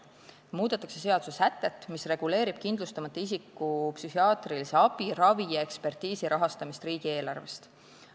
Muudetakse seadussätet, mis reguleerib kindlustamata isiku psühhiaatrilise abi, ravi ja ekspertiisi rahastamist riigieelarvest.